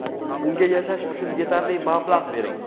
unga yashash uchun yetarli mablag‘ bering.